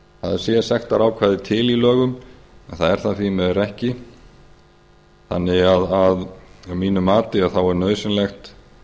að það sé sektarákvæði til í lögum en það er það því miður ekki þannig að mínu mati er nauðsynlegt